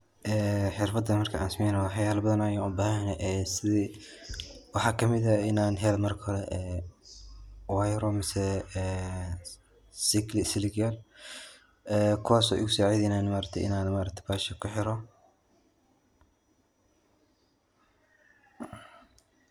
Ee xirfadan markan sameeynayo wax yaba badan ayan ubahan yahay sidi waxa kamid eh inan helo marko hore wayaaro ama siligyal ee kuwaaso igu saacideynayan Ma aragte inan mesha kuxiro